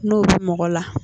N'o bi mɔgɔ la